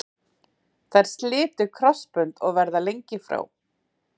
Þær slitu krossbönd og verða lengi frá.